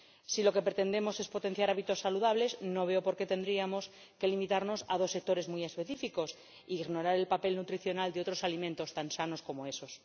Si lo que pretendemos es potenciar hábitos saludables, no veo por qué tendríamos que limitarnos a dos sectores muy específicos e ignorar el papel nutricional de otros alimentos tan sanos como esos.